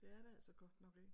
Det er det altså godt nok ikke